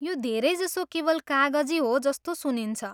यो धेरैजसो केवल कागजी हो जस्तो सुनिन्छ।